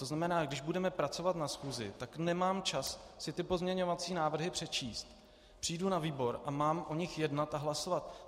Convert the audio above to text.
To znamená, když budeme pracovat na schůzi, tak nemám čas si ty pozměňovací návrhy přečíst, přijdu na výbor a mám o nich jednat a hlasovat.